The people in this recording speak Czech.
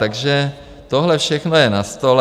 Takže tohle všechno je na stole.